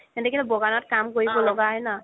সিহতেটো বগানত কাম কৰিব ল'গা হয় ন